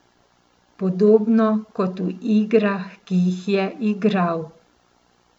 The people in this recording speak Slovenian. Podobno kot v igrah, ki jih je igral.